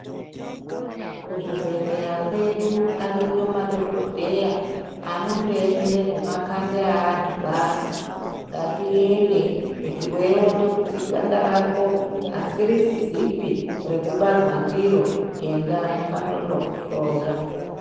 Kuzvibhedhleya kwedu ariyo madhogodheya, anondoemere zvemakanda eantu basi. Ngatiende kuti weiona kuti ganda rako asirizipi rekubarwa ndiro enda anonokuhloya.